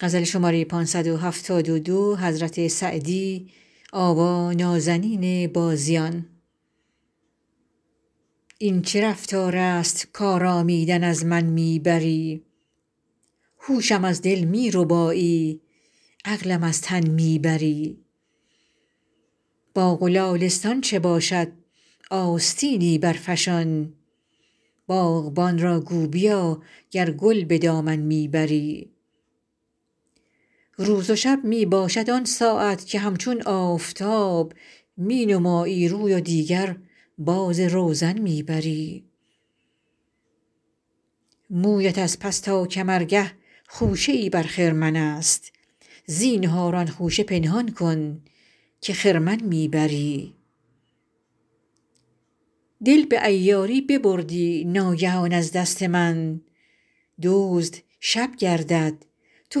این چه رفتار است کآرامیدن از من می بری هوشم از دل می ربایی عقلم از تن می بری باغ و لالستان چه باشد آستینی برفشان باغبان را گو بیا گر گل به دامن می بری روز و شب می باشد آن ساعت که همچون آفتاب می نمایی روی و دیگر باز روزن می بری مویت از پس تا کمرگه خوشه ای بر خرمن است زینهار آن خوشه پنهان کن که خرمن می بری دل به عیاری ببردی ناگهان از دست من دزد شب گردد تو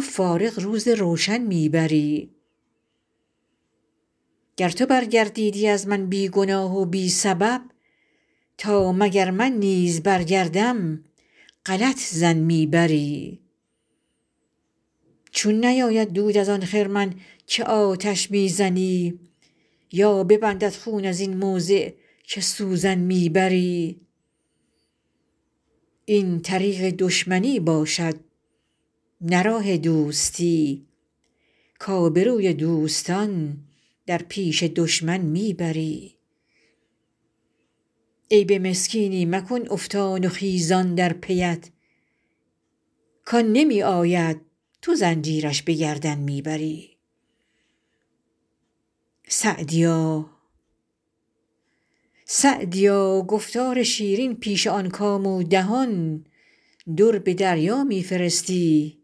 فارغ روز روشن می بری گر تو برگردیدی از من بی گناه و بی سبب تا مگر من نیز برگردم غلط ظن می بری چون نیاید دود از آن خرمن که آتش می زنی یا ببندد خون از این موضع که سوزن می بری این طریق دشمنی باشد نه راه دوستی کآبروی دوستان در پیش دشمن می بری عیب مسکینی مکن افتان و خیزان در پی ات کآن نمی آید تو زنجیرش به گردن می بری سعدیا گفتار شیرین پیش آن کام و دهان در به دریا می فرستی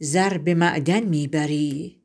زر به معدن می بری